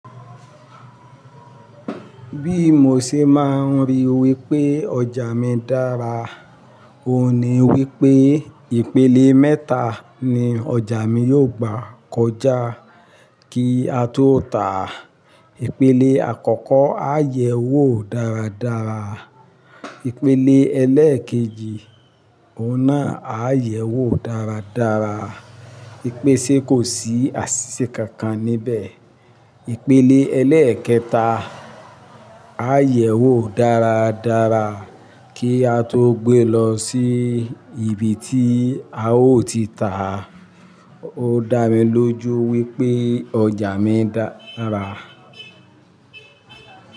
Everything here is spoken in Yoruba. Bí mo ṣe máa ń rí wí pé ọjà mi dára, òun ni wí pé ìpele mẹ́ta ni ọjà mi yóò gbà kọjá kí á tó tàá. Ìpele àkọ́kọ́, á yẹ̀ wò dáradára. Ìpele ẹlẹ́ẹ̀kejì, òun náà á yẹ̀ wò dáradára. Ipe ṣe kò sí àṣìṣe kankan níbẹ̀. Ìpele ẹlẹ́ẹ̀kẹta, á yẹ̀ wò dáradára kí á tó gbé lọ sí ibi tí a ó ti tà á. Ó dá mi lójú wí pé ọjà mi dára.